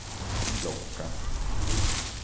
klocka